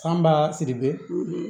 F'an b'a siri